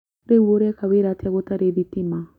Rĩu ũreka wĩra atĩa gũtarĩ thitima?